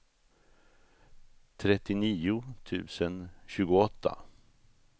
trettionio tusen tjugoåtta